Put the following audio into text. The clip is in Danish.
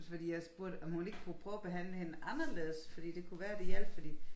Fordi jeg spurgte om hun ikke kunne prøve at behandle hende anderledes fordi det kunne være det hjalp fordi